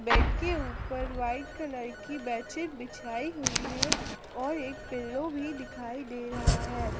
Bed के ऊपर white colour की बेड शीट बिछाई हुई है और एक पिल्लो भी दिखाई दे रहा है।